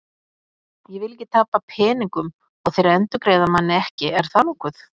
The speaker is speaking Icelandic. Ég vil ekki tapa peningum og þeir endurgreiða manni ekki, er það nokkuð?